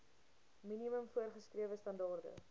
minimum voorgeskrewe standaarde